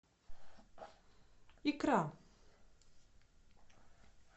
икра